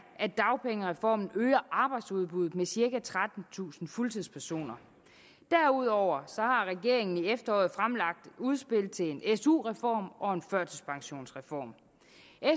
at dagpengereformen øger arbejdsudbuddet med cirka trettentusind fuldtidspersoner derudover har regeringen i efteråret fremlagt et udspil til en su reform og en førtidspensionsreform